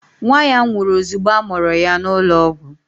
Nwa ya nwụrụ ozugbo a mụrụ ya n'ụlọọgwụ